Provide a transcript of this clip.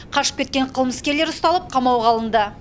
қашып кеткен қылмыскерлер ұсталып қамауға алынды